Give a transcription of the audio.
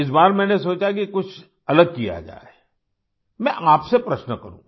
इस बार मैंने सोचा कि कुछ अलग किया जाए मैं आपसे प्रश्न करूँ